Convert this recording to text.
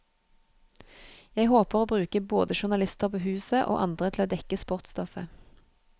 Jeg håper å bruke både journalister på huset, og andre til å dekke sportsstoffet.